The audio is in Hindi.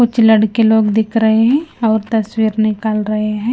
कुछ लड़के लोग दिख रहे हैं और तस्वीर निकाल रहे हैं।